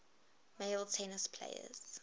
male tennis players